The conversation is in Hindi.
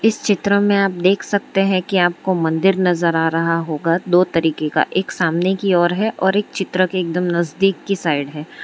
इस चित्र में आप देख सकते हैं कि आपको मंदिर नजर आ रहा होगा दो तरीके का एक सामने की ओर है और एक चित्र एकदम नजदीक की साइड है।